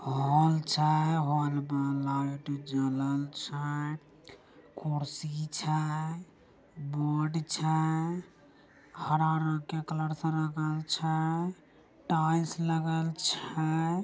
हॉल छै । हॉल मा लाइट जलन छै । कुर्सी छै । बोर्ड छै हरा रंग के कलर से रंगाई छै । टाइल्स लागेल छै ।